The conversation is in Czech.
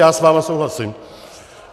Já s vámi souhlasím.